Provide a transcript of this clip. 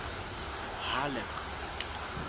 halleck